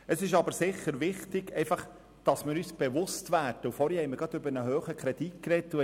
Es ist sicher wichtig, dass wir uns bewusst werden, dass wir genau hier bei den Kosten ansetzen könnten.